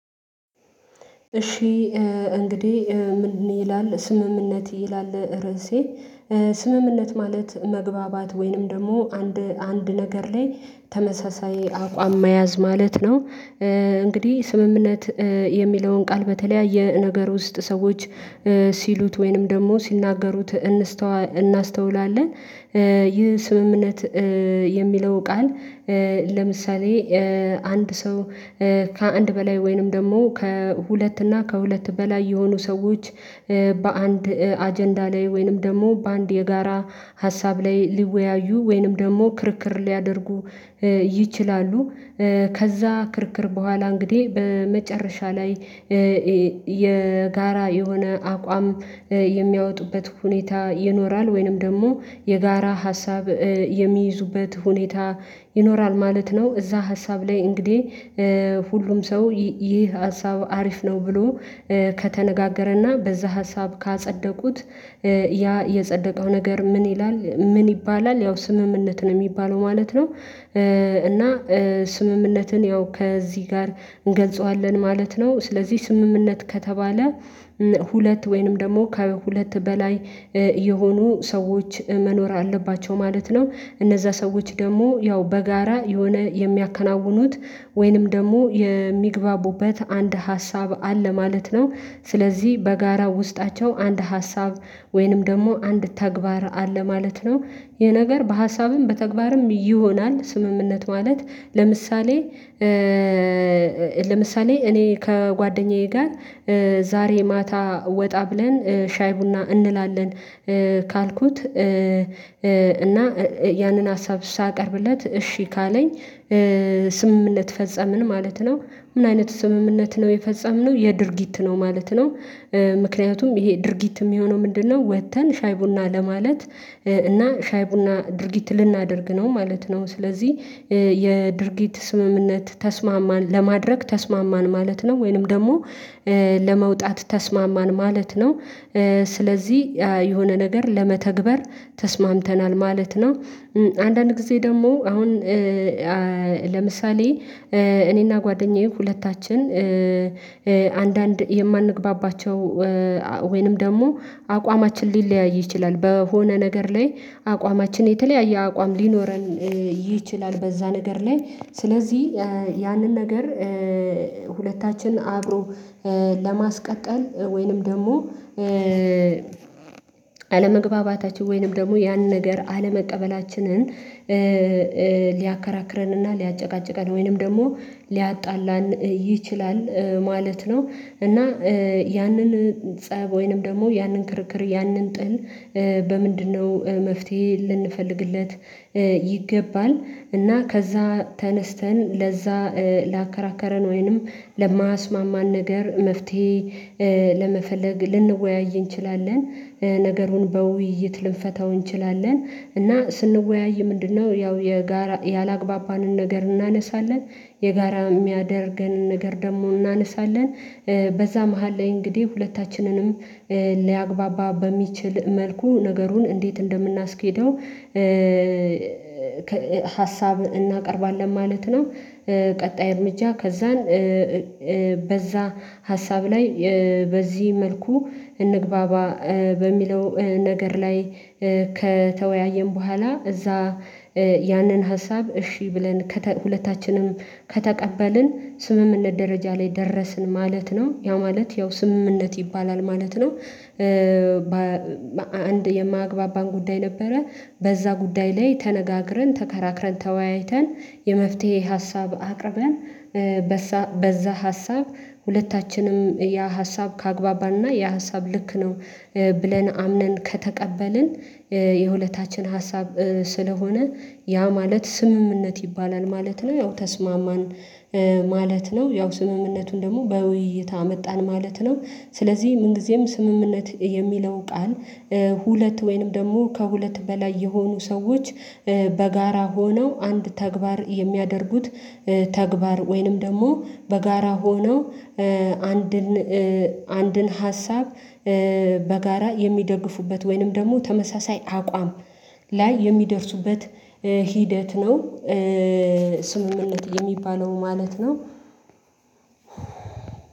እሺ። እንግዲህ ምን ይላል ስምምነት ይላል ርዕሴ ስምምነት ማለት መግባባት ወይንም ደግሞ አንድ አንድ ነገር ላይ ተመሳሳይ አቋም መያዝ ማለት ነው። እንግዲህ ስምምነት የሚለውን ቃል በተለያየ ነገር ውስጥ ሰዎች ሲሉት ወይንም ደግሞ ሲናገሩት እናስተውላለን ይህ ስምምነት የሚለው ቃል ለምሳሌ አንድ ሰው ከአንድ በላይ ወይንም ደግሞ ከሁለት እና ከሁለት በላይ የሆኑ ሰዎች በአንድ አጀንዳ ላይ ወይንም ደግሞ በአንድ የጋራ ሀሳብ ላይ ሊወያዩ ወይንም ደግሞ ክርክር ሊያደርጉ ይችላሉ። ከዛ ክርክር በኋላ እንግዲህ በመጨረሻ ላይ የጋራ የሆነ አቋም የሚያወጡበት ሁኔታ ይኖራል ወይንም ደግሞ የጋራ ሀሳብ የሚይዙበት ሁኔታ ይኖራል ማለት ነው። እዛ ሀሳብ ላይ እንግዲህ ሁሉም ሰው ይህ ሀሳብ አሪፍ ነው ብሎ ከተነጋገረና በዛ ሀሳብ ካጸደቁት ያ የጸደቀው ነገር ምን ይላል ምን ይባላል ያው ስምምነት ነው የሚባለው ማለት ነው። እና ስምምነትን ያው ከዚህ ጋር እንገልጸዋለን ማለት ነው። ስለዚህ ስምምነት ከተባለ ሁለት ወይንም ደግሞ ከሁለት በላይ የሆኑ ሰዎች መኖር አለባቸው ማለት ነው። እነዛ ሰዎች ደግሞ ያው በጋራ የሆነ የሚያከናውኑት ወይንም ደግሞ የሚግባቡበት አንድ ሀሳብ አለ ማለት ነው። ስለዚህ በጋራ ውስጣቸው አንድ ሀሳብ ወይንም ደግሞ አንድ ተግባር አለ ማለት ነው። የነገር በሀሳብም በተግባርም ይሆናል ስምምነት ማለት። ለምሳሌ እኔ ከጓደኛዬ ጋር ዛሬ ማታ ወጣ ብለን ሻይ ቡና እንላለን ካልኩት እና ያንን ሀሳብ ሳቀርብለት እሺ ካለኝ ስምምነት ፈጸምን ማለት ነው። ምን አይነት ስምምነት ነው የፈጸምነው የድርጊት ነው ማለት ነው። ምክንያቱም ይሄ ድርጊት የሚሆነው ምንድነው ወጥተን ሻይ ቡና ለማለት እና ሻይ ቡና ድርጊት ልናደርግ ነው ማለት ነው። ስለዚህ የድርጊት ስምምነት ተስማማን ለማድረግ ተስማማን ማለት ነው ወይንም ደግሞ ለመውጣት ተስማማን ማለት ነው። ስለዚህ የሆነ ነገር ለመተግበር ተስማምተናል ማለት ነው። አንዳንድ ጊዜ ደግሞ አሁን ለምሳሌ እኔና ጓደኛዬ ሁለታችን አንዳንድ የማንግባባቸው ወይንም ደግሞ አቋማችን ሊለያይ ይችላል በሆነ ነገር ላይ አቋማችን የተለያየ አቋም ሊኖረን ይችላል። በዛ ነገር ላይ ስለዚህ ያንን ነገር ሁለታችን አብሮ ለማስቀጠል ወይንም ደግሞ አለመግባባታችን ወይንም ደግሞ ያንን ነገር አለመቀበላችንን ሊያከራክረንና ሊያጨቃጭቃን ወይንም ደግሞ ሊያጣላን ይችላል ማለት ነው። እና ያንን ፀብ ወይንም ደግሞ ያንን ክርክር ያንን ጥል በምንድነው? መፍትሄ ልንፈልግለት ይገባል እና ከዛ ተነስተን ለዛ ላከራከረን ወይንም ለማስማማን ነገር መፍትሄ ለመፈለግ ልንወያይ እንችላለን ነገሩን በውይይት ልንፈታው እንችላለን። እና ስንወያይ ምንድነው? ያው የጋራ ያላግባባንን ነገር እናነሳለን የጋራ የሚያደርገን ነገር ደግሞ እናነሳለን በዛ መሃል ላይ እንግዲህ ሁለታችንንም ሊያግባባ በሚችል መልኩ ነገሩን እንዴት እንደምናስኬደው ሀሳብ እናቀርባለን ማለት ነው። ቀጣይ እርምጃ ከዛን በዛ ሀሳብ ላይ በዚህ መልኩ እንግባባ በሚለው ነገር ላይ ከተወያየን በኋላ እዛ ያንን ሀሳብ እሺ ብለን ሁለታችንም ከተቀበልን ስምምነት ደረጃ ላይ ደረስን ማለት ነው ያው ማለት ያው ስምምነት ይባላል ማለት ነው። አንድ የማግባባን ጉዳይ ነበረ በዛ ጉዳይ ላይ ተነጋግረን ተከራክረን ተወያይተን የመፍትሄ ሀሳብ አቅርበን በዛ ሀሳብ ሁለታችንም ያ ሀሳብ ከአግባባና ያ ሀሳብ ልክ ነው ብለን አምነን ከተቀበልን የሁለታችን ሀሳብ ስለሆነ ያ ማለት ስምምነት ይባላል ማለት ነው። ያው ተስማማን ማለት ነው ያው ስምምነቱን ደግሞ በውይይት አመጣን ማለት ነው። ስለዚህ ምንጊዜም ስምምነት የሚለው ቃል ሁለት ወይንም ደግሞ ከሁለት በላይ የሆኑ ሰዎች በጋራ ሆነው አንድ ተግባር የሚያደርጉት ተግባር ወይንም ደግሞ በጋራ ሆነው አንድን አንድን ሀሳብ በጋራ የሚደግፉበት ወይንም ደግሞ ተመሳሳይ አቋም ላይ የሚደርሱበት ሂደት ነው። ስምምነት የሚባለው ማለት ነው።